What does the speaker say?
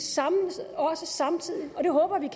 også samtidig og det håber jeg